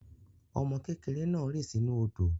Ọmọ kékèrè naà rì sinú òdò